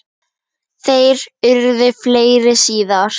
Þær urðu fleiri síðar.